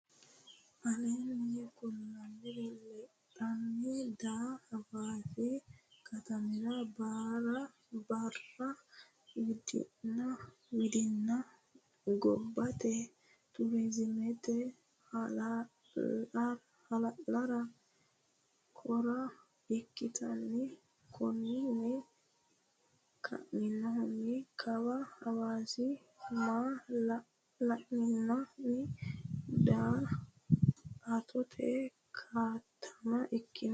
Aleenni kulliri lexxanni daa Hawaasi katamira baara widinna gobbate turizimete hala lara kora ikkitino Konninni kainohunni kawa Hawaasi maa la linannihanna daa attote katama ikkino.